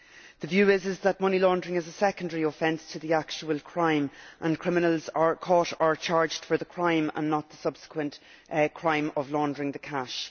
The view is that money laundering is a secondary offence to the actual crime and that criminals are caught or charged for the crime and not for the subsequent crime of laundering the cash.